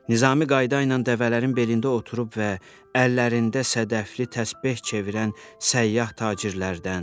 Nizami qayda ilə dəvələrin belində oturub və əllərində sadəfli təsbeh çevirən səyyah tacirlərdən.